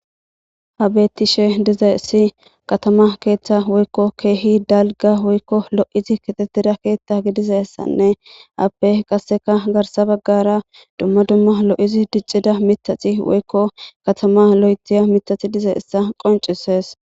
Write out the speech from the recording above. habetishe diza issi katama keeththa woykko keehi dalga woykko lo7izi kixettira keeththa gidizassanne appe qasseka garsa baggara dumma dumma lo7izi diccida mitaxi woykko katama lo7etiya mitaxi diza issa qoncises